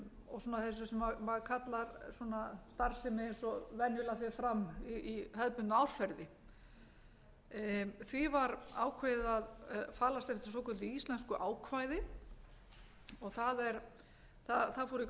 og svona þessu sem maður kallar starfsemi eins og venjulega fer fram í hefðbundnu árferði því var ákveðið að falast eftir svokölluðu íslensku ákvæði og það fóru í gang miklar